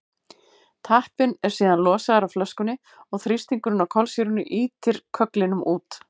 tappinn er síðan losaður af flöskunni og þrýstingurinn á kolsýrunni ýtir kögglinum út